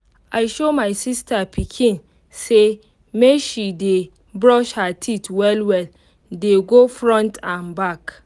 i show my sister pikin say make she dey brush her teeth well well dey go front n back